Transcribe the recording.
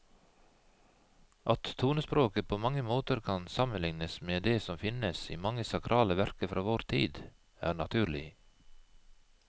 At tonespråket på mange måter kan sammenlignes med det som finnes i mange sakrale verker fra vår tid, er naturlig.